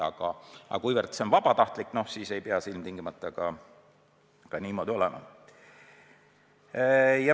Aga kuna see on vabatahtlik, siis ei pea see ilmtingimata niimoodi olema.